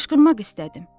Qışqırmaq istədim.